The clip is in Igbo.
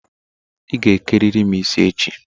Ị ga eke riri m isi echi!